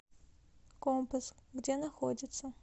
компас где находится